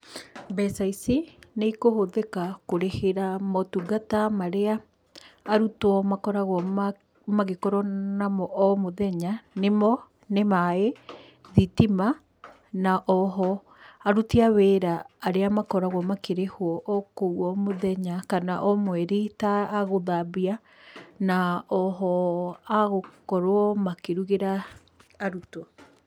Mbeca ici nĩikũhũthĩka kũrĩhira motungata marĩa arutwo makoragwo namo omũthenya, nĩmo nĩ maĩ, thitima, na oho aruti a wĩra arĩa makoragwa makĩrĩhwo gũkũ omũthenya kana omweri ta agũthambia na oho agũkorwo makĩrugĩra arutwo.